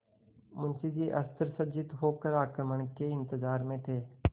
मुंशी जी अस्त्रसज्जित होकर आक्रमण के इंतजार में थे